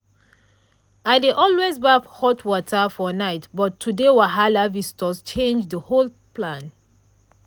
i dey always baff hot water for night but today wahala visitors change the whole plan.